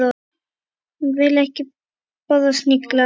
Ég vil ekki borða snigla.